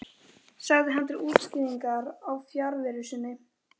sagði hann til útskýringar á fjarveru sinni.